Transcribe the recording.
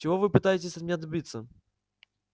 чего вы пытаетесь от меня добиться